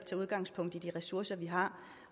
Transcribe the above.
også har